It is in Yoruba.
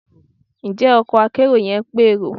Njẹ ọkò akerò yẹn pe erò